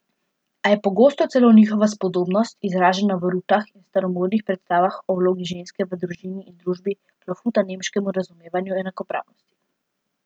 A je pogosto celo njihova spodobnost, izražena v rutah in staromodnih predstavah o vlogi ženske v družini in družbi, klofuta nemškemu razumevanju enakopravnosti.